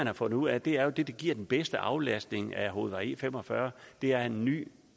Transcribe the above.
har fundet ud af er at det der giver den bedste aflastning af hovedvej e45 er en ny